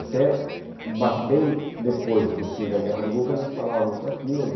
Até bem depois do fim da Guerra do Golfo ainda se falava muito daquilo.